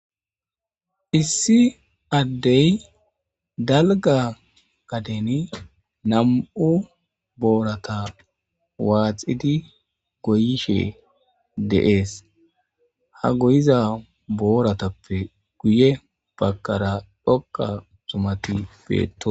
Issi addey dalgga gaden nam77u boorata waaxidi goyishe dees.ha goyiza booratappe guye baggara dhoqqa zumati beettoosona.